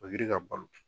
ka balo